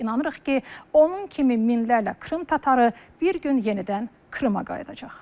İnanırıq ki, onun kimi minlərlə Krım tatarı bir gün yenidən Krıma qayıdacaq.